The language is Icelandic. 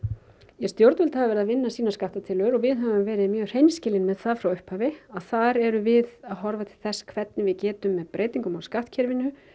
ja stjórnvöld hafa verið að vinna sínar skattatillögur og við höfum verið mjög hreinskilin með það frá upphafi að þar erum við að horfa til þess hvernig við getum með breytingum á skattkerfinu